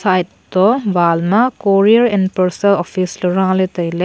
side to wall ma courier and parcel office raley tailey.